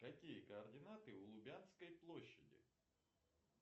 какие координаты у лубянской площади